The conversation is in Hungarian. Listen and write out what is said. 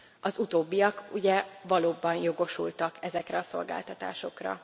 Az utóbbiak ugye valóban jogosultak ezekre a szolgáltatásokra.